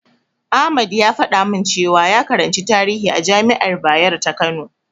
Ahmad ya faɗa min cewa ya karanci tarihi a jami'ar Bayero Kano.